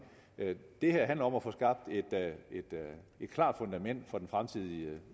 det her handler om at få skabt et klart fundament for den fremtidige